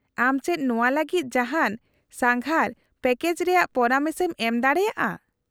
-ᱟᱢ ᱪᱮᱫ ᱱᱚᱶᱟ ᱞᱟᱹᱜᱤᱫ ᱡᱟᱦᱟᱱ ᱥᱟᱸᱜᱷᱟᱨ ᱯᱮᱠᱮᱡ ᱨᱮᱭᱟᱜ ᱯᱚᱨᱟᱢᱮᱥ ᱮᱢ ᱮᱢᱫᱟᱲᱮᱭᱟᱜᱼᱟ ?